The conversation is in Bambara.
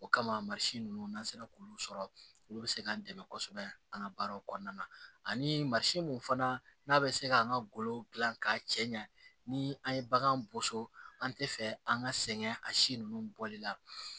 O kama ninnu n'an sera k'olu sɔrɔ olu bɛ se k'an dɛmɛ kosɛbɛ an ka baaraw kɔnɔna na ani masi mun fana n'a bɛ se k'an ka golo dilan k'a cɛ ɲa ni an ye bagan boso an tɛ fɛ an ka sɛgɛn a si ninnu bɔli la